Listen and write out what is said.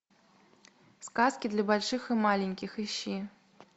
сказки для больших и маленьких ищи